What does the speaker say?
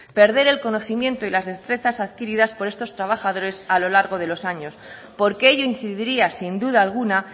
perder el conocimiento y las destrezas adquiridas por estos trabajadores a lo largo de los años porque ello incidiría sin duda alguna